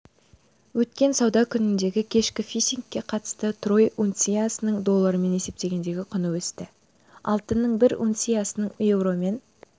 өткен сауда күніндегі кешкі фиксингке қатысты трой унциясының доллармен есептегендегі құны өсті алтынның бір унциясының еуромен